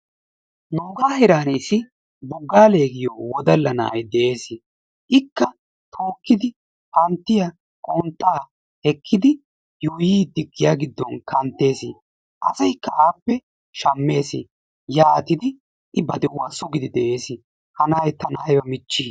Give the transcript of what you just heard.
Nuugaa heeran issi Boggaale giyo wodalla na'ay de'eesi. Ikka tookkidi panttiya, qonxxaa giya giddon kanttees. Asaykka appe shammees. Yaatidi I ba de'uwa sugidi de'ees. Ha na'ay tana ayba michchii?